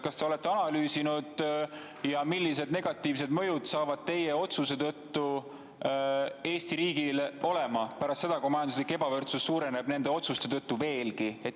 Kas te olete analüüsinud, millised negatiivsed mõjud saavad teie otsuse tõttu Eesti riigil olema pärast seda, kui majanduslik ebavõrdsus suureneb nende otsuste tõttu veelgi?